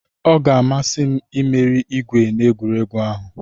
Ọ ga-amasị m imeri igwe na egwuregwu ahụ.